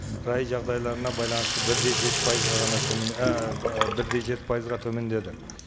рай жағдайларына байланысты бір де жеті пайызға ғана төмен бір де жеті пайызға төмендеді